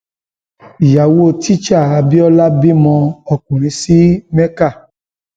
ìyàwó teaching abiola bímọ ọkùnrin sí mecca